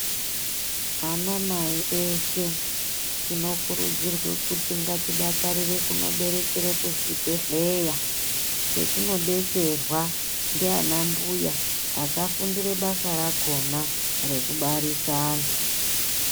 Anamai eshe tinokurudzirwe kuti ngatidakarire kunoberekere kuzvibhedhlera kwetinobetserwa ndiana mbuya akafundire basa rakona rekubarisa antu.